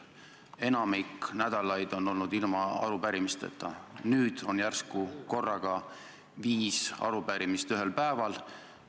Enamik nädalaid on olnud ilma arupärimisteta, kuid nüüd on järsku korraga viis arupärimist ühel päeval.